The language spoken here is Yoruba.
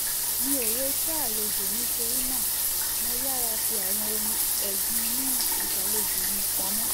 mi ò retí àlejò nítorí náà mo yára fi àwọn ohun ẹ̀gbin inú ìgbàlejò mi pamọ́